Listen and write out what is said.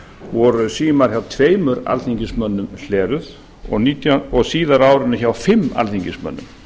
voru símar hjá tveimur alþingismönnum hleraðir og síðar á árinu hjá fimm alþingismönnum